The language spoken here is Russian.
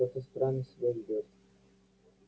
кто-то странно себя ведёт